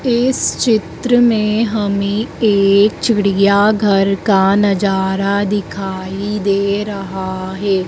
इस चित्र में हमे एक चिड़ियाघर का नजारा दिखाई दे रहा है।